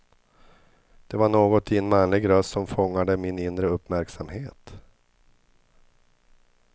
Det var något i en manlig röst som fångade min inre uppmärksamhet.